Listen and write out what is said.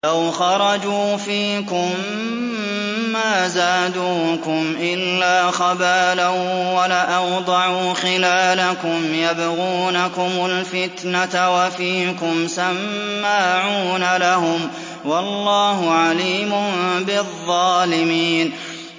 لَوْ خَرَجُوا فِيكُم مَّا زَادُوكُمْ إِلَّا خَبَالًا وَلَأَوْضَعُوا خِلَالَكُمْ يَبْغُونَكُمُ الْفِتْنَةَ وَفِيكُمْ سَمَّاعُونَ لَهُمْ ۗ وَاللَّهُ عَلِيمٌ بِالظَّالِمِينَ